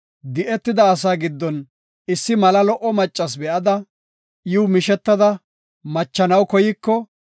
di7etida asaa giddon issi mala lo7o maccas be7ada, iw mishetada machanaw koyiko,